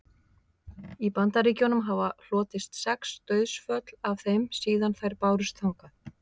í bandaríkjunum hafa hlotist sex dauðsföll af þeim síðan þær bárust þangað